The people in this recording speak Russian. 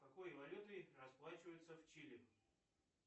какой валютой расплачиваются в чили